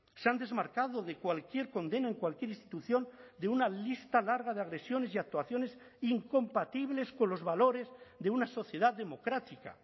se han desmarcado de cualquier condena en cualquier institución de una lista larga de agresiones y actuaciones incompatibles con los valores de una sociedad democrática